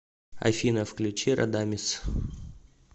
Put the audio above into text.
афина включи радамиз